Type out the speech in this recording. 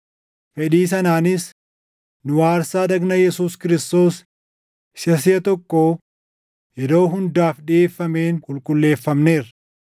Fedhii sanaanis nu aarsaa dhagna Yesuus Kiristoos isa siʼa tokko yeroo hundaaf dhiʼeeffameen qulqulleeffamneerra.